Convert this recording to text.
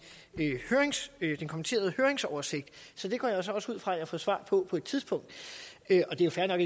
den kommenterede høringsoversigt så det går jeg også ud fra at jeg får svar på på et tidspunkt og det er fair nok